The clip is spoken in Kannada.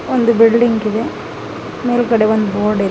ಒಂದು ಬಿಲ್ಡಿಂಗ್ ಇದೆ ಮೇಲ್ಗಡೆ ಒಂದು ಬೋರ್ಡ್ ಇದೆ.